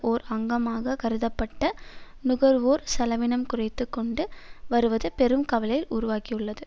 ஓர் அங்கமாக கருதப்பட்ட நுகர்வோர் செலவினம் குறைந்து கொண்டு வருவது பெரும் கவலையை உருவாக்கியுள்ளது